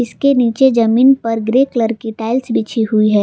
इसके नीचे जमीन पर ग्रे कलर की टाइल्स बिछी हुई है।